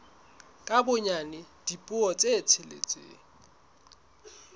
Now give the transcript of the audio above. ka bonyane dipuo tse tsheletseng